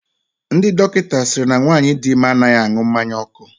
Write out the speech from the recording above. Ndị dọkịta sịrị na nwaanyị di ime anaghị aṅụ mmanya ọkụ.